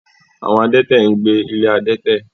Àwọn adẹ́tẹ̀ ń gbé ilé adẹ́tẹ̀.